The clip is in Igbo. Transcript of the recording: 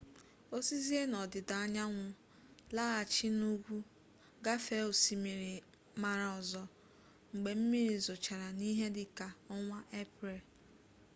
o sizie n'ọdịda anyanwụ laghachi n'ugwu gafee osimiri mara ọzọ mgbe mmiri zochara n'ihe dị ka ọnwa eprel